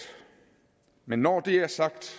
men når det er sagt